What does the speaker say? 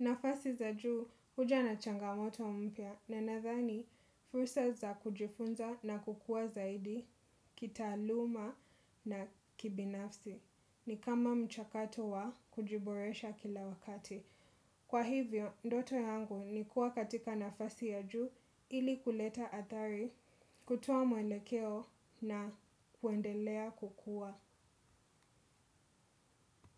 Nafasi za juu huja na changamoto mpya na nadhani fursa za kujifunza na kukua zaidi kitaaluma na kibinafsi. Ni kama mchakato wa kujiboresha kila wakati. Kwa hivyo, ndoto yangu ni kuwa katika nafasi ya juu ili kuleta athari kutoa mwelekeo na kuendelea kukua.